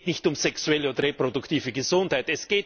Es geht nicht um sexuelle oder reproduktive Gesundheit.